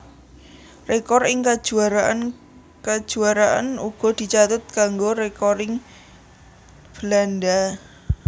Rekor ing kajuaraan kajuaraanuga dicatet kanggo rekoring Belanda